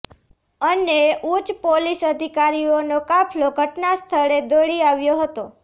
અને ઉચ્ચ પોલીસ અધિકારીઓનો કાફલો ઘટનાસ્થળે દોડી આવ્યો હતો